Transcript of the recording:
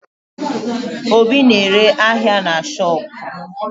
Obi na-ere ahịa na shopu